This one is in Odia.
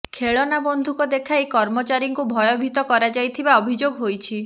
ଖେଳନା ବନ୍ଧୁକ ଦେଖାଇ କର୍ମଚାରୀଙ୍କୁ ଭୟଭୀତ କରାଯାଇଥିବା ଅଭିଯୋଗ ହୋଇଛି